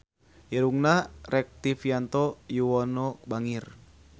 Irungna Rektivianto Yoewono bangir